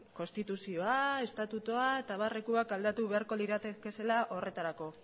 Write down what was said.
konstituzioa estatutua eta abarrekoak aldatu beharko liratekezela horretarako